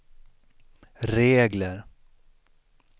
regler